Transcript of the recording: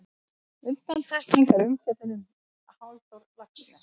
Undantekning er umfjöllun um Halldór Laxness.